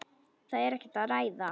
Það er ekkert að ræða.